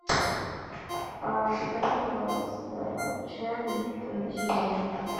закажи пожалуйста чай липтон зеленый